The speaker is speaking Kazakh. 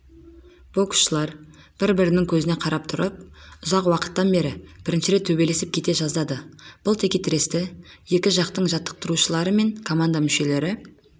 боксшылар бір-бірінің көзіне қарап тұрып ұзақ уақыттан бері бірінші рет төбелесіп кете жаздады бұл текетіресті екі жақтың жаттықтырушылары мен команда мүшелері